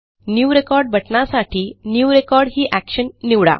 new record बटणासाठी new record ही Actionनिवडा